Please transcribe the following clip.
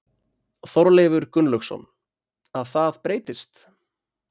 Þorleifur Gunnlaugsson: Að það breytist?